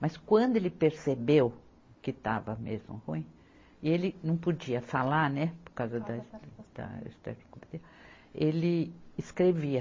Mas quando ele percebeu que estava mesmo ruim, e ele não podia falar, né, por causa da ele escrevia.